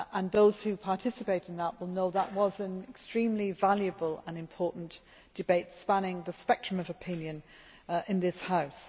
Those who participated will know that it was an extremely valuable and important debate, spanning the spectrum of opinion in this House.